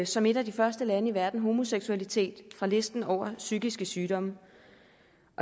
som et af de første lande i verden homoseksualitet fra listen over psykiske sygdomme